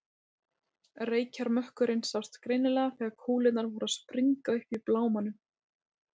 Reykjarmökkurinn sást greinilega þegar kúlurnar voru að springa uppi í blámanum.